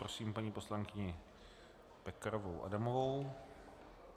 Prosím paní poslankyni Pekarovou Adamovou.